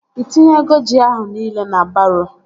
Ị tinyego ji ahụ nile na baroo?